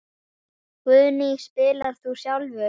Guðný: Spilar þú sjálfur?